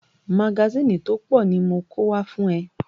Magásìnì tó pọ̀ ni mo kó wá fún ẹ.